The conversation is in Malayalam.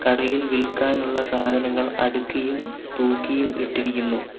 കടയിൽ വിൽക്കാനുള്ള സാധനങ്ങൾ അടുക്കിയും തൂക്കിയും ഇട്ടിരിക്കുന്നു.